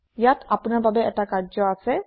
ইয়াত আপুনাৰ বাবে এটা কাৰ্য্য আছে